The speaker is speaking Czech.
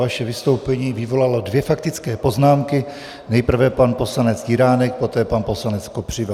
Vaše vystoupení vyvolalo dvě faktické poznámky, nejprve pan poslanec Jiránek, poté pan poslanec Kopřiva.